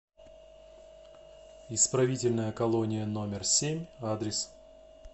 исправительная колония номер семь адрес